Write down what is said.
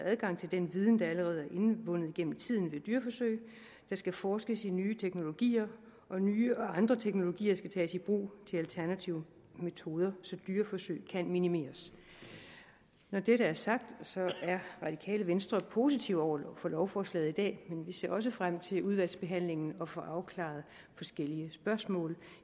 adgang til den viden der allerede er indvundet igennem tiden ved dyreforsøg der skal forskes i nye teknologier og nye og andre teknologier skal tages i brug til alternative metoder så dyreforsøg kan minimeres når det er sagt så er radikale venstre positive over for lovforslaget i dag men vi ser også frem til i udvalgsbehandlingen at få afklaret forskellige spørgsmål